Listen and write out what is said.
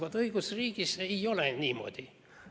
Vaat õigusriigis ei ole niimoodi.